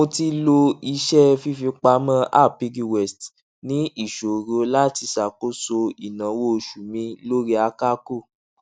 mo ti lo iṣẹ fífipamọ app piggyvest ní ìṣòro láti ṣàkóso ináwó oṣù mi lórí àkàkò